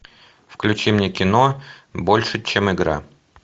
включи мне кино больше чем игра